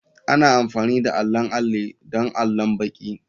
Ana amfani da allon alli don allon baki.